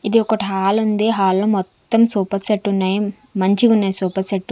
ఇది ఒకటి హాలుంది హాల్లో మొత్తం సోపా సెట్టున్నాయి మంచిగున్నాయి సోపా సెట్టు .